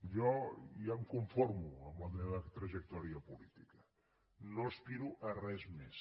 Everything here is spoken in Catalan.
jo ja em conformo amb la meva trajectòria política no aspiro a res més